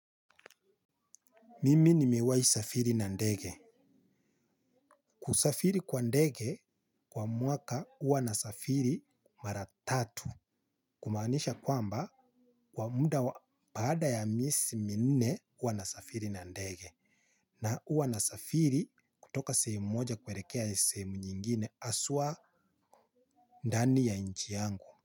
Mimi nimewahi safiri na ndege. Kusafiri kwa ndege kwa mwaka huwa nasafiri mara tatu. Kumaanisha kwamba kwa muda wa baada ya miezi minne huwa nasafiri na ndege. Na huwa nasafiri kutoka sehemu moja kuelekea sehemu nyingine haswa ndani ya nchi yangu.